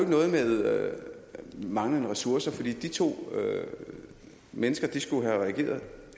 noget med manglende ressourcer for de to mennesker skulle have reageret